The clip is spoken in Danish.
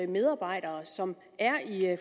medarbejdere som er i